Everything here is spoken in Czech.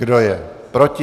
Kdo je proti?